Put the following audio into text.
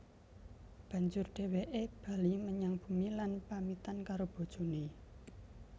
Banjur dhèwèké bali menyang bumi lan pamitan karo bojoné